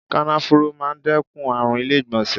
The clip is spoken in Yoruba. Kànáfùrú máa ń dẹ́kun àrùn ilé ìgbọ̀nsẹ̀.